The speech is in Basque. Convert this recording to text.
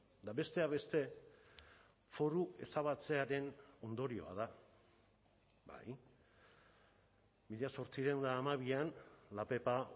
eta besteak beste foru ezabatzearen ondorioa da bai mila zortziehun eta hamabian la pepa